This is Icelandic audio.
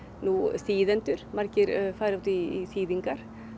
þýðendur margir fara út í þýðingar